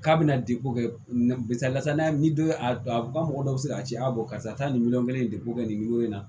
K'a bɛna degun kɛ misalila san ni don a ba mɔgɔ dɔ bɛ se k'a ci a bɔ karisa nin miliyɔn kelen ni degun bɛ nin na